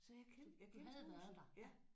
Så jeg kendte jeg kendte huset